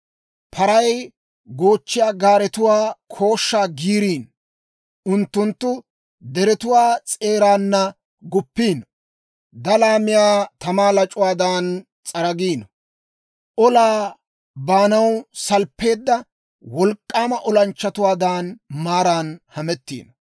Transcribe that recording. Paray goochchiyaa gaaretuwaa kooshshaa giiriino; unttunttu deretuwaa s'eeraana guppiino; dalaa miyaa tamaa lac'uwaadan s'aragiino; olaa baanaw salppeedda wolk'k'aama olanchchatuwaadan maaran hametiino.